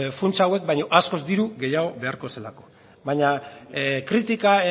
funtsa hauek baino askoz diru gehiago beharko zelako baina kritika